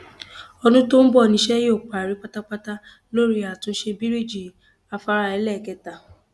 ọdún tó ń bọ níṣẹ yóò parí pátápátá lórí àtúnṣe bíríjì afárá ẹlẹẹkẹta